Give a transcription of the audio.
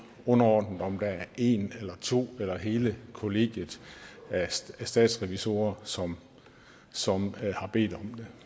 underordnet om det er en eller to eller hele kollegiet af statsrevisorer som som har bedt